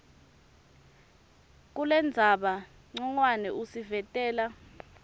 kulendzaba ncongwane usivetela